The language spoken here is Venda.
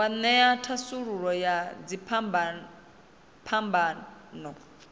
wa ṅea thasululo ya dziphambano